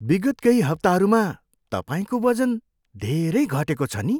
विगत केही हप्ताहरूमा तपाईँको वजन धेरै घटेको छ नि!